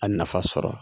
A nafa sɔrɔ